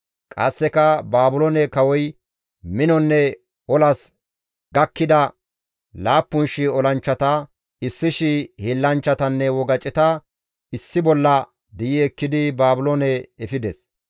Qasseka Baabiloone kawoy minonne olas gakkida 7,000 olanchchata, 1,000 hiillanchchatanne wogaceta issi bolla di7i ekkidi Baabiloone efides.